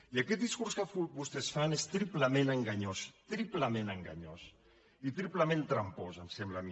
i aquest discurs que vostès fan és triplement enganyós triplement enganyós i triplement trampós em sembla a mi